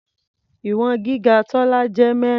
Ìwọ̀n gíga Tọ́lá jẹ́ mẹ́rin.